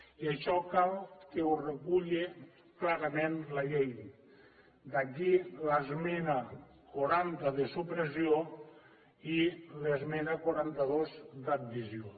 i això cal que ho reculla clarament la llei d’aquí l’esmena quaranta de supressió i l’esmena quaranta dos d’addició